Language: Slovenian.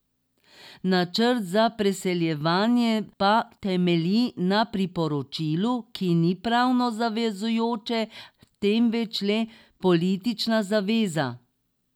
Načrt za preseljevanje pa temelji na priporočilu, ki ni pravno zavezujoče, temveč le politična zaveza.